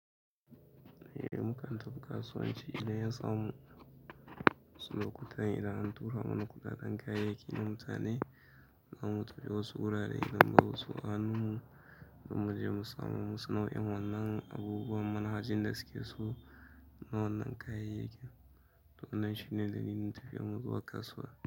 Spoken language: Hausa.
Eh muka tafi kasuwanci idan ya samu wasu lokutan, idan an tura mana kuɗaɗen kayayyakin na mutane zamu tafi wasu wurare, gidan wasu, a hannun mu zamuje mu samo musu nau'in wannan abubuwan manhajin da suke so na wannan kayayyakin. To wannan shine dalilin tafiyar mu zuwa kasuwa.